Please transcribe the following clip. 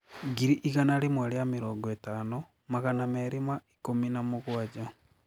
ngiri igana rĩmwe ria mĩrongo ĩtano magana merĩ ma ikumi na mũgwanja